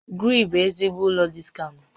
Gree bụ ezigbo ụlọ diskaụnt